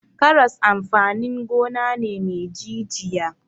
Karas amfanin gona ne me jijiya.